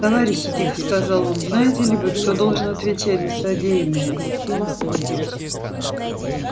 товарищи тихо сказал он знаете ли вы кто должен отвечать за содеянное